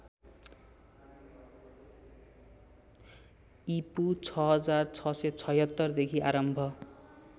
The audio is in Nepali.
ईपू ६६७६देखि आरम्भ